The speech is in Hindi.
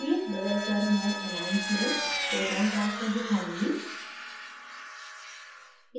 ph बदलकर मैं amines में proton transfer दिखाऊँगी